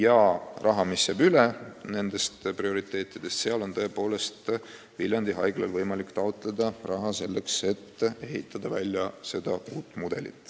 Ja seda raha, mis jääb üle nende prioriteetide arvestamisest, on tõepoolest Viljandi Haiglal võimalik taotleda, et ehitada välja uus mudel.